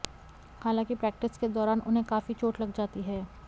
हालांकि प्रैक्टिस के दौरान उन्हें काफी चोट लग जाती है